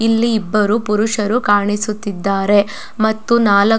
ಇಲ್ಲಿ ಇಬ್ಬರು ಪುರುಷರು ಕಾಣಿಸುತಿದ್ದರೆ ಮತ್ತು ನಾಲ --